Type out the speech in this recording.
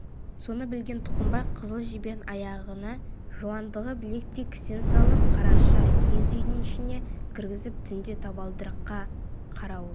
соны білген тұқымбай қызыл жебенің аяғына жуандығы білектей кісен салып қараша киіз үйдің ішіне кіргізіп түнде табалдырыққа қарауыл